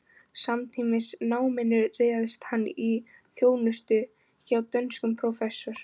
Samtímis náminu réðst hann í þjónustu hjá dönskum prófessor